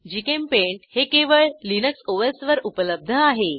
GChemPaint हे केवळ Linux OS वर उपलब्ध आहे